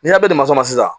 N'i y'a mɛn masuma na sisan